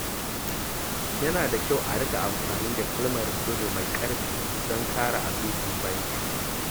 Yana da kyau a rika amfani da kalmar sirri mai ƙarfi don kare asusun banki.